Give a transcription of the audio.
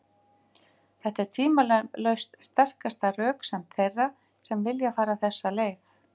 Þetta er tvímælalaust sterkasta röksemd þeirra sem vilja fara þessa leið.